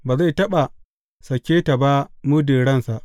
Ba zai taɓa sake ta ba muddin ransa.